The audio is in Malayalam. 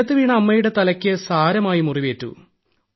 നിലത്തുവീണ അമ്മയുടെ തലയ്ക്ക് സാരമായ മുറിവേറ്റു